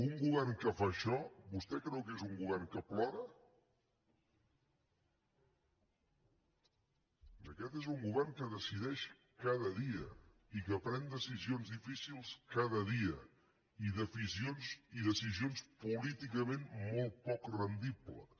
un govern que fa això vostè creu que és un govern que plora aquest és un govern que decideix cada dia i que pren decisions difícils cada dia i decisions políticament molt poc rendibles